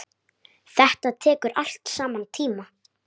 Þetta tekur allt saman tíma.